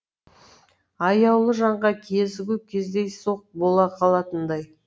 аяулы жанға кезігу кездейсоқ бола қалатындай